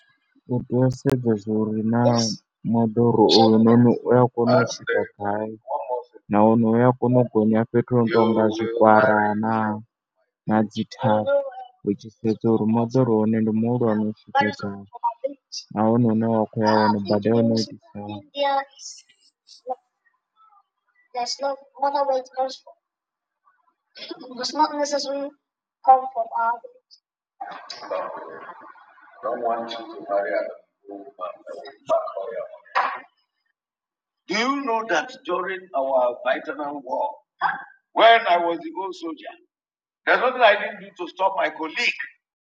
U tea u sedza zwa uri naa moḓoro uyu noni u ya kona u swika gai nahone u ya kona u gonya fhethu ho no tou nga zwikwara naa na dzi thavha. U tshi sedza uri moḓoro wa hone ndi muhulwane . Nahone hune wa khou ya hone bada ya hone yo tou itisa hani. Do you know that during our when i was a to stop my colleague.